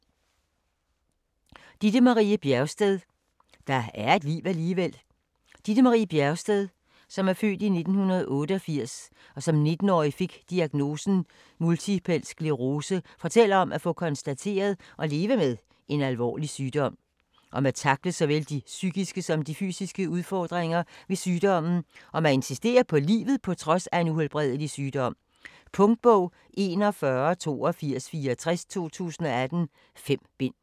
Bjergsted, Ditte Marie: Der er et liv alligevel Ditte Marie Bjergsted (f. 1988), der som 19 årig fik diagnosen multipel sclerose, fortæller om at få konstateret og leve med en alvorlig sygdom, om at tackle såvel de psykiske som de fysiske udfordringer ved sygdommen og om at insistere på livet på trods af en uhelbredelig sygdom. Punktbog 418264 2018. 5 bind.